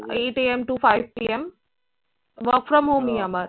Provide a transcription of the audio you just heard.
eight am to five pm work from home ই আমার